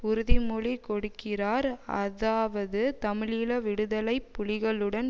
உறுதிமொழி கொடுக்கிறார் அதாவது தமிழீழ விடுதலை புலிகளுடன்